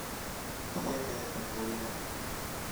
Ndiendete kũrĩra